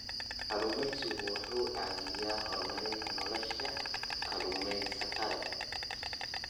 Kalluumaysigu waxa uu caawiyaa horumarinta nolosha kalluumaysatada.